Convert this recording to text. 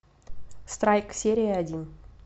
страйк серия один